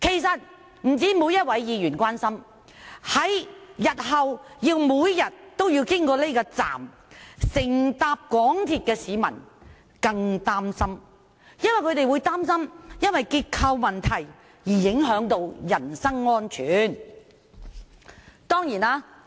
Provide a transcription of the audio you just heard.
不單每位議員關心，日後每天經此車站乘搭港鐵的市民更擔心，會因為結構問題而影響到人身安全。